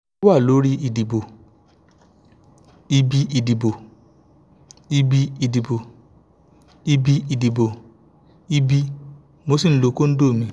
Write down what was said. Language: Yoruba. ó wà lórí ìdìbò ìbí ìdìbò ìbí ìdìbò ìbí ìdìbò ìbí mo sì lo kóndómì